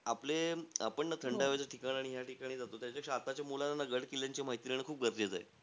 आपले आपण न थंडाव्याचे ठिकाणी आणि या ठिकाणी जातो. त्याच्यापेक्षा आताच्या मुलांना ना गड-किल्ल्यांची माहिती देणं, खूप गरजेचं आहे.